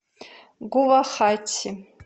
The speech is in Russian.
гувахати